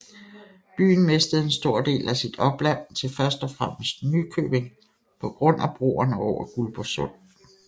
Byen mistede en stor del af sit opland til først og fremmest Nykøbing på grund af broerne over Guldborg Sund